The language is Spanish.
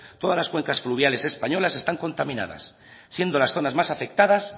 todas las cuencas fluviales españolas están contaminadas siendo las zonas más afectadas